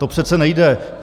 To přece nejde.